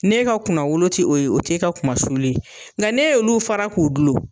N'e ka kunna wolo ti o ye o t'e ka kuma sulu ye nga ne y'olu fara k'u gulon